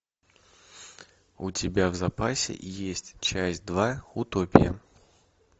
у тебя в запасе есть часть два утопия